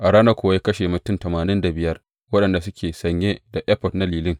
A ranar kuwa ya kashe mutum tamanin da biyar waɗanda suke sanye da efod na lilin.